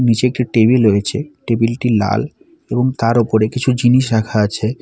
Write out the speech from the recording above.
নীচে একটি টেবিল রয়েছে টেবিল -টি লাল এবং তার ওপরে কিছু জিনিস রাখা আছে।